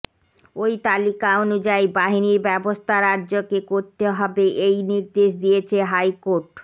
ওই তালিকা অনুযায়ী বাহিনীর ব্যবস্থা রাজ্যকে করতে হবে এই নির্দেশ দিয়েছে হাইকোর্ট